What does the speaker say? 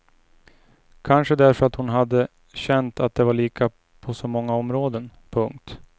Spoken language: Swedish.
Kanske därför att hon hade känt att de var lika på så många områden. punkt